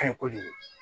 Ka ɲi kojugu